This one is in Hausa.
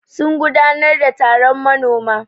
Sun gudanar da taron manoma.